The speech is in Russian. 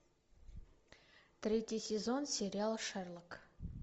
третий сезон сериал шерлок